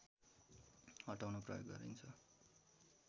हटाउन प्रयोग गरिन्छ